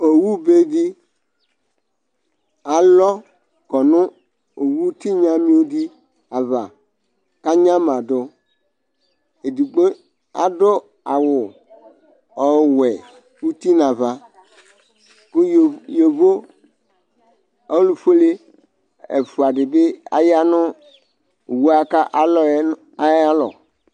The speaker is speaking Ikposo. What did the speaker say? owu bɛdi alɔ kɔnʋ owu tinya di ava kʋ anyamadu edigbo adu awʋ ɔwɛ ʋti nʋ aɣa kʋ yovo yovo olʋfuɛlɛ ɛfua di bi aya nu awuɛ ku alɔ ayalɔ